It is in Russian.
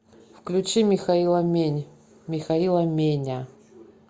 включи михаила мень михаила меня